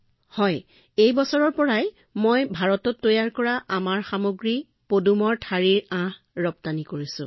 হয় মহোদয় এই বছৰৰ পৰা মই ভাৰতত নিৰ্মিত আমাৰ সামগ্ৰী পদুম আঁহ ৰপ্তানি কৰিছো